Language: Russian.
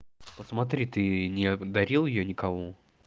посмотри ты не дарил её никому